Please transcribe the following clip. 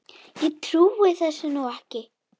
Ég trúi þessu nú ekki!